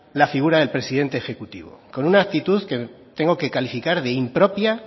la figura del presidente ejecutivo con una actitud que tengo que calificar de impropia